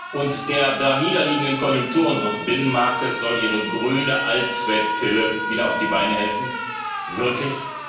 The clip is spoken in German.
Und der daniederliegenden Konjunktur unseres Binnenmarktes soll ihre grüne Allzweckpille wieder auf die Beine helfen wirklich?